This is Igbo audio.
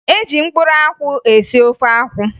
E ji mkpụrụ akwụ esi ofe akwụ